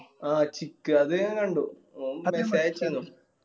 ആ chick അത് ഞാൻ കണ്ടു